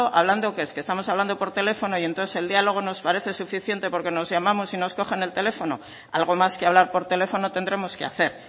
hablando qué es que estamos hablando por teléfono y entonces el diálogo nos parece suficiente porque nos llamamos y nos cogen el teléfono algo más que hablar por teléfono tendremos que hacer